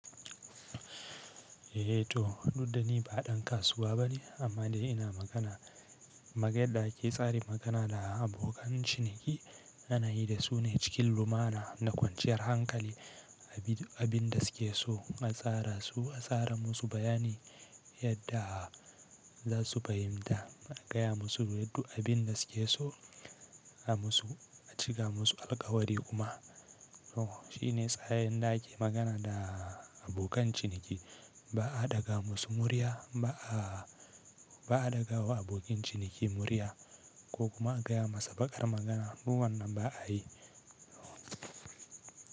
Eh to, duk da ni ba dan kasuwa bane amma dai ina magana, mage da ake tsarin magana da abokan ciniki ana yi da su ne cikin lumana da kwanciyar hankali. Abin da suke so a tsara su, a tsara musu bayani yadda za su fahimta, a gaya musu yadda abin da suke so a musu, a cika musu alkawari kuma. To shi ne tsarin da ake magana da abokan ciniki. Ba a ɗaga musu murya, ba'a, ba'a ɗaga wa abokin ciniki murya ko kuma a gaya masa baƙar magana, duk wannan ba'a yi.